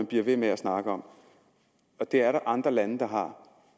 bliver ved med at snakke om det er der andre lande der har